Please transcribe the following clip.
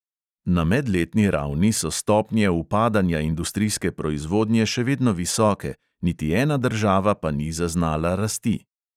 Na medletni ravni so stopnje upadanja industrijske proizvodnje še vedno visoke, niti ena država pa ni zaznala rasti.